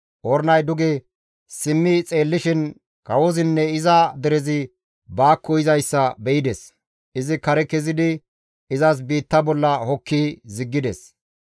Ornay duge simmi xeellishin kawozinne iza derezi baakko yizayssa be7ides; izi kare kezidi izas biitta bolla hokki ziggides.